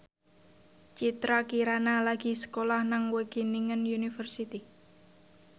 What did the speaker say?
Citra Kirana lagi sekolah nang Wageningen University